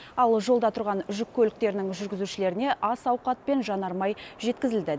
ал жолда тұрған жүк көліктерінің жүргізушілеріне ас ауқат пен жанармай жеткізілді